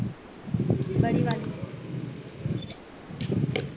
बडीवाली